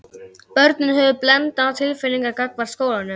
Börnin höfðu blendnar tilfinningar gagnvart skólanum.